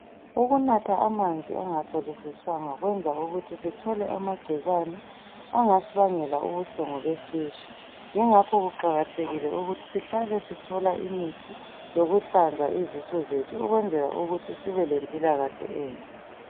Ukunatha amanzi angahlolisiswanga kuyenza ukuthi sithole amagcikwane angasibangela ubuhlungu besisu. Ingakho kuqakathekile ukuthi sihlale sithola imithi yokuhlanza izisu zethu ukwenzela ukuthi sibe lempilakahle enhle.